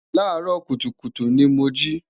laa ro kutukutu ni mo ji